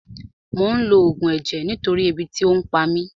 Mò ń lo Ògùn ẹ̀jẹ̀ nítorí ebi tí ò pa mí